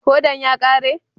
Hodan ya kare?